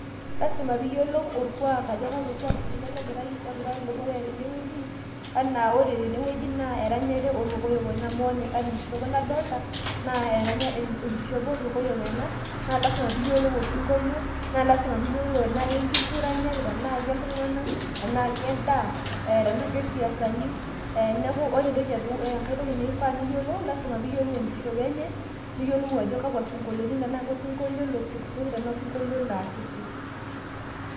lasima pee iyiolu orkuaak, ajo kalo kuuak ele ogira alo dukuya tene wueji, ajo ore tene wueji naa, eranyare oorkokoyok ena, anaa enkishopo nadoolita naa ankishopo oorkokoyoj ena naa lasima pee iyiolu osinkolio, naa lasima pee iyiolu enaa kenkishu iranyaki, tenaa keltung'anak, tenaa kendaa tenaa kesiasani. Neeku ore enkae toki nifaa niyiolu, lasima pee iyiolou enkishopo enye tenaa kosinkolio osiokisioki, tenaa kosinkolio olo akiti.